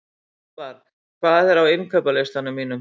Eðvar, hvað er á innkaupalistanum mínum?